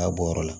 K'a bɔ yɔrɔ la